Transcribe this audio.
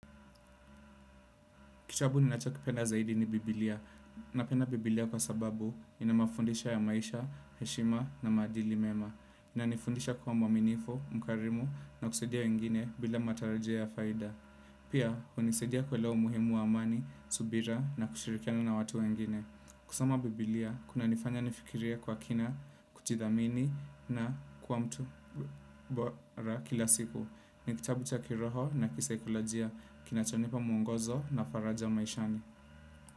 Kitabu ninacho kipenda zaidi ni Biblia. Napenda Biblia kwa sababu inamafondisha ya maisha, heshima na madili mema. Inanifundisha kuwa mwaminifu, mkarimu na kusedia wengine bila matarajio ya faida. Pia, unisedia kuelewa umuhimu wa amani, subira na kushirikiana na watu wengine. Kusoma Biblia, kunanifanya nifikirie kwa kina, kuchidhamini na kuwa mtu bora kilasiku. Ni kitabu cha kiroho na kiseikolojia, kinachonipa muongozo na faraja maishani.